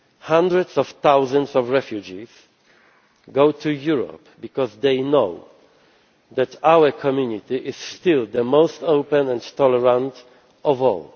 Hundreds of thousands of refugees go to Europe because they know that our community is still the most open and tolerant of all.